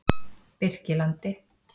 Birkilandi